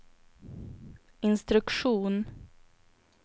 instruktion